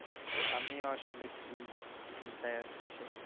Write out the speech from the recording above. আমিও আসলে free চিন্তায় আছি